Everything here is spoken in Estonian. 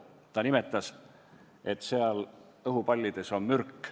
Ta ütles, et neis õhupallides on mürk.